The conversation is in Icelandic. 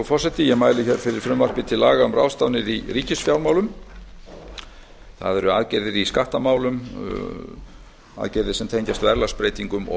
frú forseti ég mæli fyrir frumvarpi til laga um ráðstafanir í ríkisfjármálum það eru aðgerðir í skattamálum aðgerðir sem tengjast verðlagsbreytingum og